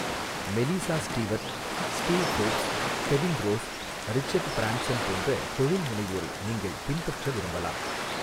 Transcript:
மெலிசா Stewart, Steve Forbes, Kevin Rose, Richard Branson போன்ற தொழில்முனைவோரை நீங்கள் பின்பற்ற விரும்பலாம்.